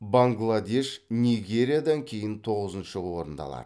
бангладеш нигериядан кейін тоғызыншы орынды алады